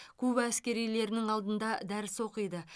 куба әскерилерінің алдында дәріс оқиды